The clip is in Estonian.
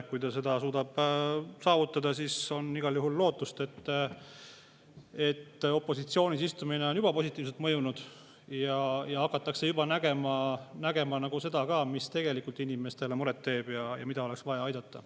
Kui ta seda suudab, siis on igal juhul lootust, et opositsioonis istumine on juba positiivselt mõjunud ja hakatakse nägema ka seda, mis tegelikult inimestele muret teeb ja millega oleks vaja aidata.